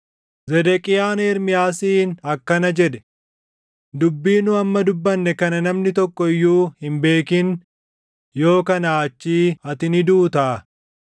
Zedeqiyaan Ermiyaasiin akkana jedhe; “Dubbii nu amma dubbanne kana namni tokko iyyuu hin beekin; yoo kanaa achii ati ni duutaa.